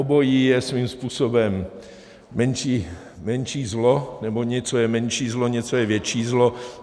Obojí je svým způsobem menší zlo, nebo něco je menší zlo, něco je větší zlo.